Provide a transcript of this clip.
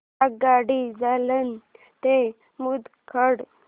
आगगाडी जालना ते मुदखेड